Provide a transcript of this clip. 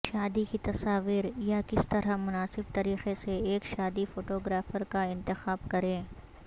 شادی کی تصاویر یا کس طرح مناسب طریقے سے ایک شادی فوٹوگرافر کا انتخاب کریں